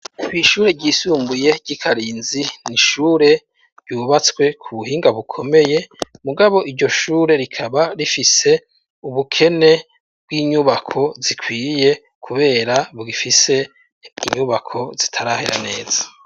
Ishure ryisumbuye ry'iKarinzi n'ishure ryubatswe ku buhinga bukomeye mugabo iryo shure rikaba rifise ubukene bw'inyubako zikwiye kubera bugifise inyubako zitarahera neza.